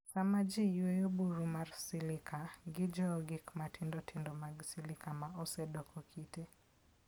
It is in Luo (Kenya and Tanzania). Sama ji yweyo buru mar silica, gijowo gik matindo tindo mag silica ma osedoko kite.